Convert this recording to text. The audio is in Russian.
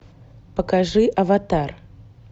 покажи аватар